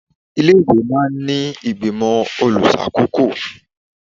Ilé-ìwé máa ń ní ìgbìmọ̀ olùṣàkóko